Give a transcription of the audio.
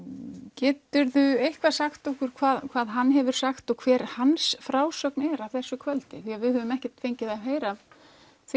getur þú eitthvað sagt okkur hvað hvað hann hefur sagt og hver hans frásögn er frá þessu kvöldi því að við höfum ekkert fengið að heyra af því